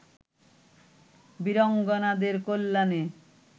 বীরাঙ্গনাদের কল্যাণে